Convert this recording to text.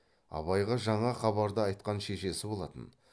абайға жаңа хабарды айтқан шешесі болатын